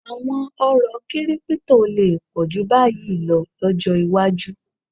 À̀wọn oró kírípítò lè pọ̀ jù báyìí lọ lọ́jọ́ iwájú